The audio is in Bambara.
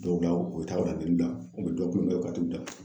Dɔw da u bɛ taa u bɛ dɔ kun ka t'u da